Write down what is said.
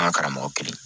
An ka karamɔgɔ kelen